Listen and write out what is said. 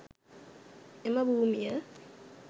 එම භූමිය